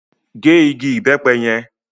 Gé igi ìbẹ́pẹ yẹn!